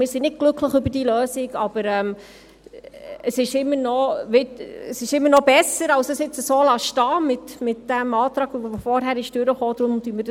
Wir sind also nicht glücklich über diese Lösung, aber sie ist immer noch besser, als es jetzt so stehenzulassen, mit dem Antrag, der vorhin angenommen wurde.